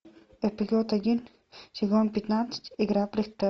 эпизод один сезон пятнадцать игра